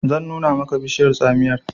zan nuna maka bishiyar tsamiyar!